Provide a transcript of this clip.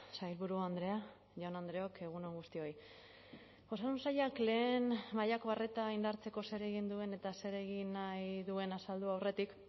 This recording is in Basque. sailburu andrea jaun andreok egun on guztioi osasun sailak lehen mailako arreta indartzeko zer egin duen eta zer egin nahi duen azaldu aurretik